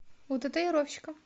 у татуировщика